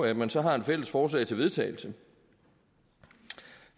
at man så har et fælles forslag til vedtagelse